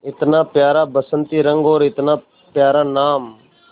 इतना प्यारा बसंती रंग और इतना प्यारा नाम